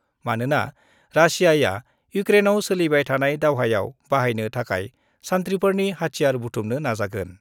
मानोना रासियाआ इडक्रेनआव सोलिबाय थानाय दावहायाव बाहायनो थाखाय सान्थिफोरनि हाथियार बुथुमनो नाजागोन।